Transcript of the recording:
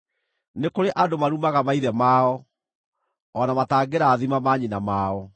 “Nĩ kũrĩ andũ marumaga maithe mao o na matangĩrathima manyina mao;